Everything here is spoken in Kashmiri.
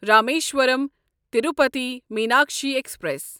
رامیشورم تروٗپتھی میناکشی ایکسپریس